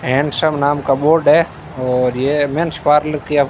handsome नाम का board है और यह मेंस पार्लर की--